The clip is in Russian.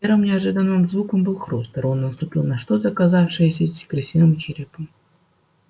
первым неожиданным звуком был хруст рон наступил на что-то оказавшееся крысиным черепом